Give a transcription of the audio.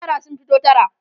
yara sun fito tara